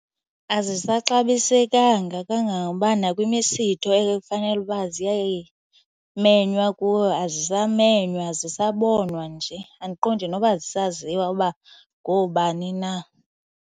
Azisaxabisekanga kangangoba nakwimisitho ekufanele uba ziyamenywa kuwo azisamenywa, azisabonwa nje andiqondi noba zisaziwa uba ngoobani na.